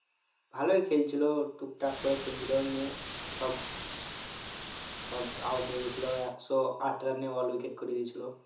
ভালোই খেলছিল টুকটাক করে খেলছিল নিয়ে সব সব out হয়ে গেছিল একশো আট run এ all wicket করে দিয়েছিল